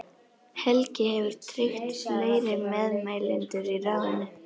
Helgi hefur tryggt fleiri meðmælendur í ráðinu.